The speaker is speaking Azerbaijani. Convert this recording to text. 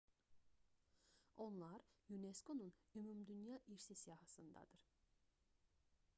onlar unesco-nun ümumdünya i̇rsi siyahısındadır